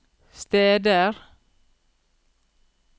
steder